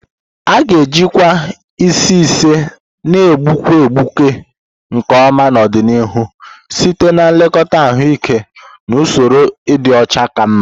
A ga-ejikwa isi isi na-egbuke egbuke nke ọma n'ọdịnihu site na nlekọta ahụike na usoro ịdị ọcha ka mma.